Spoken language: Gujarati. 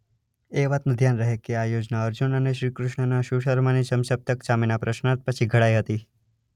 એ વાતનું ધ્યાન રહે કે આ યોજના અર્જુન અને શ્રીકૃષ્ણના સુશર્માની સમસપ્તક સામે ના પ્રશ્નાર્થ પછી ઘડાઈ હતી.